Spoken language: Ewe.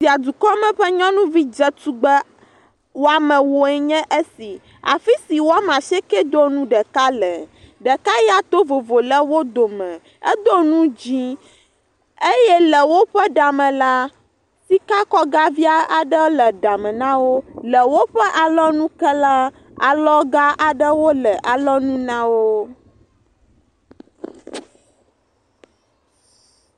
Fia dukɔme ƒe nyɔnuvi dzetugbe woame ewo enye esi, afi si woame asieke do nu ɖeka le, ɖeka to vovo le wo dome, edo nu dzɛ̃, eye le woƒe ɖa me, sikakɔga vi aɖe le ɖa me na wo. Le woƒe alɔnu ke la, alɔga aɖe le alɔnu na wo.